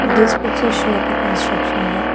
This picture show the construction work.